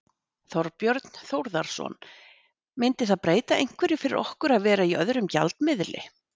Þorbjörn Þórðarson: Myndi það breyta einhverju fyrir okkur að vera í öðrum gjaldmiðli?